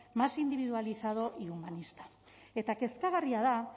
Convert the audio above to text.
más individualizado y humanista eta kezkagarria da